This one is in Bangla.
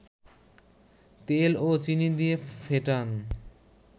তেল ও চিনি দিয়ে ফেটান